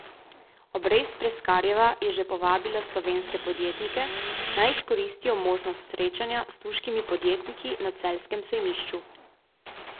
Obrez Preskarjeva je že povabila slovenske podjetnike, naj izkoristijo možnost srečanja s turškimi podjetniki na celjskem sejmišču.